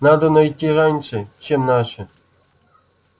надо найти раньше чем наши